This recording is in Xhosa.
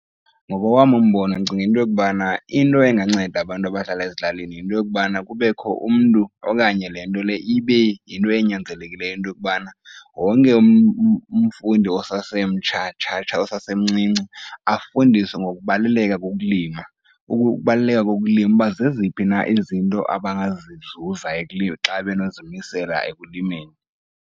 Ngokowam umbono ndicinga into yokubana into enganceda abantu abahlala ezilalini yinto yokubana kubekho umntu okanye le nto le ibe yinto ezinyanzelekileyo into yokubana wonke umfundi osasemtsha tsha tsha tsha, osasemncinci afundiswe ngokubaluleka kokulima. Ukubaluleka kokulima uba zeziphi na izinto abangazizuza xa benozimisela ekulimeni.